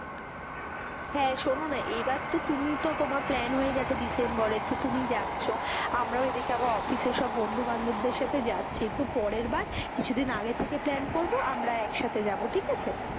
হেঁ, শুনো না এইবার তো তুমি তো তোমার প্ল্যান হয়ে গেছে ডিসেম্বরে তো তুমি যাচ্ছ, আমরাও এদিকে আবার অফিসের সব বন্ধু বান্ধব দের সাথে যাচ্ছি, তো পরের বার কিছু দিন আগের থেকে প্ল্যান করবো, আমরা একসাথে যাবো ঠিক আছে,